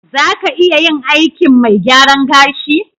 Za ka iya yin aikin mai gyaran gashi?